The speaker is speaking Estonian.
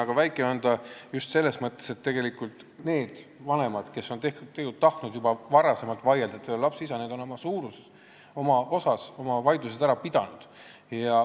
Aga sagedus on väike selles mõttes, et tegelikult need vanemad, kes on tahtnud vaielda lapse isaduse teemal, on suures osas oma vaidlused juba varem ära pidanud.